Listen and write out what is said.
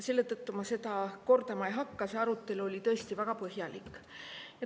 Seda arutelu ma kordama ei hakka, see oli tõesti väga põhjalik.